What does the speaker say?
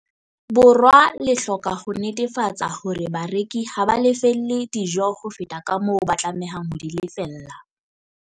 Borwa le hloka ho netefatsa hore bareki ha ba lefelle dijo ho feta kamoo ba tlamehang ho di lefella.